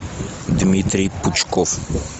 дмитрий пучков